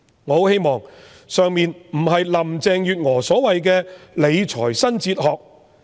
我很希望以上的想法不是林鄭月娥所謂的"理財新哲學"。